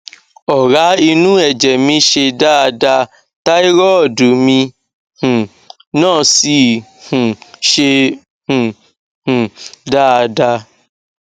ọrá inú ẹjẹ mi ṣe dáada táírọọdù mi um náà sì um ṣe um um dáada